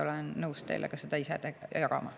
Olen nõus teile ka seda ise jagama.